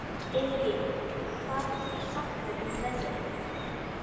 Eirný, hvað geturðu sagt mér um veðrið?